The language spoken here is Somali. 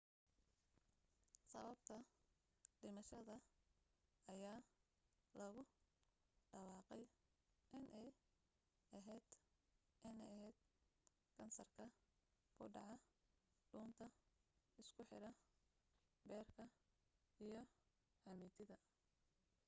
sababta dhimashada ayaa lagu dhawaaqay inay ahayd in ahayd kansarka ku dhaca dhuunta isku xidha beerka iyo xameetida